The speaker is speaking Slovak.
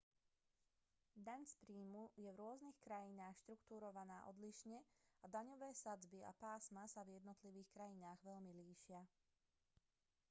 daň z príjmu je v rôznych krajinách štruktúrovaná odlišne a daňové sadzby a pásma sa v jednotlivých krajinách veľmi líšia